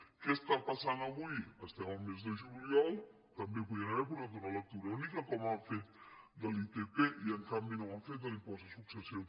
què està passant avui estem al mes de juliol també podien haver portat una lectura única com han fet amb l’itp i en canvi no ho han fet amb l’impost de successions